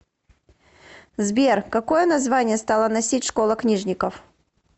сбер какое название стала носить школа книжников